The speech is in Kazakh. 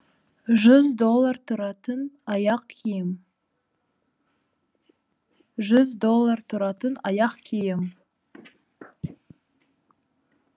жүз доллар тұратын аяқ киім жүз доллар тұратын аяқ киім